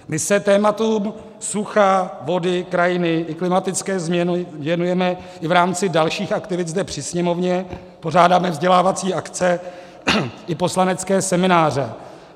My se tématům sucha, vody, krajiny i klimatické změny věnujeme i v rámci dalších aktivit zde při Sněmovně, pořádáme vzdělávací akce i poslanecké semináře.